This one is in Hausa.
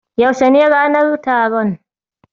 Yaushe ne ranar taron?